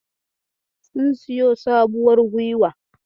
Sun siyo sabuwar guiwa.